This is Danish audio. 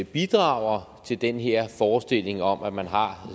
bidrager til den her forestilling om at man har